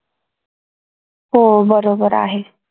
हो बरोबर आहे